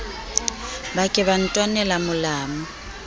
ba ke ba ntwanele molamu